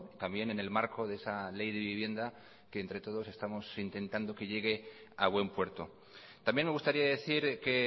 también en el marco de esa ley de vivienda que entre todos estamos intentando que llegue a buen puerto también me gustaría decir que